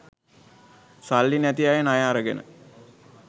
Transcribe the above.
සල්ලි නැති අය ණය අරගෙන